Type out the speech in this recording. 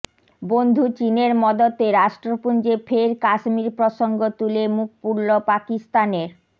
বন্ধু চিনের মদতে রাষ্ট্রপুঞ্জে ফের কাশ্মীর প্রসঙ্গ তুলে মুখ পুড়ল পাকিস্তানের